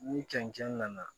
Ni cɛncɛn nana